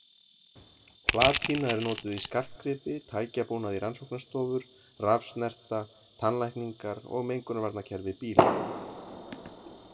Platína er notuð í skartgripi, tækjabúnað í rannsóknarstofur, rafsnerta, tannlækningar og mengunarvarnakerfi bíla.